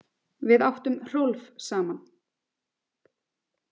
Við áttum Hrólf saman.